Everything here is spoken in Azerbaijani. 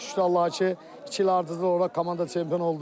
Şükür Allaha ki, iki il ardıcıl olaraq komanda çempion oldu.